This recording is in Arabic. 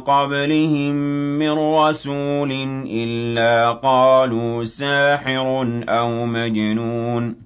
قَبْلِهِم مِّن رَّسُولٍ إِلَّا قَالُوا سَاحِرٌ أَوْ مَجْنُونٌ